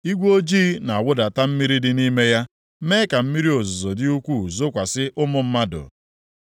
Igwe ojii na-awụdata mmiri dị nʼime ya mee ka mmiri ozuzo dị ukwuu zokwasị ụmụ mmadụ.